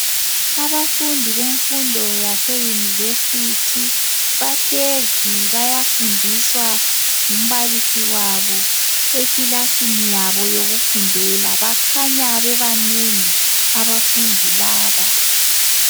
Abafundi bemfundo yaseuniversity bahlezi bayafundiswa ngumbalisi wabo ekilasini yabo yokufundela bakhanya bebanengi abafundi laba.